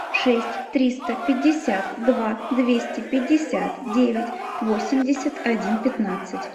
шесть триста пятьдесят два двести пятьдесят девять восемьдесят один пятнадцать